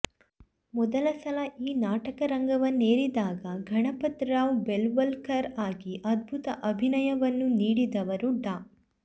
ಮೊದಲ ಸಲ ಈ ನಾಟಕ ರಂಗವನ್ನೇರಿದಾಗ ಗಣಪತರಾವ್ ಬೆಲವಲಕರ್ ಆಗಿ ಅದ್ಭುತ ಅಭಿನಯವನ್ನು ನೀಡಿದವರು ಡಾ